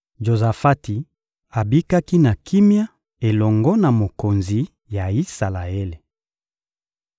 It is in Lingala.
Jozafati abikaki na kimia elongo na mokonzi ya Isalaele.